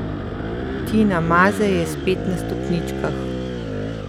Tina Maze je spet na stopničkah!